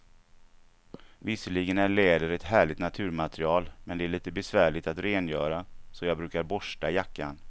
Visserligen är läder ett härligt naturmaterial, men det är lite besvärligt att rengöra, så jag brukar borsta jackan.